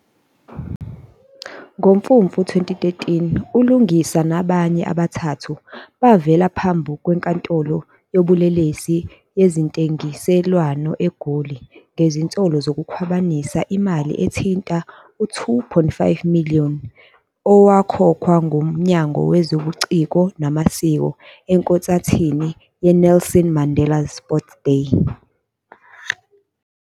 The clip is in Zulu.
NgoMfumfu 2013, uLungisa nabanye abathathu bavela ngaphambi kweNkantolo Yobulelesi Yezentengiselwano eGoli ngezinsolo zokukhwabanisa nokukhwabanisa imali ethinta u-R2.5 million owakhokhwa nguMnyango Wezobuciko Namasiko ekhonsathini 'yeNelson Mandela Sports Day'.